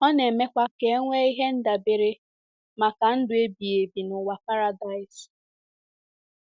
Ọ na-emekwa ka e nwee ihe ndabere maka ndụ ebighị ebi n'ụwa paradaịs.